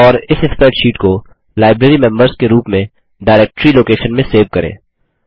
और इस स्प्रैडशीट को लाइब्रेरीमेंबर्स के रूप में डाइरेक्टरी लोकेशन में सेव करें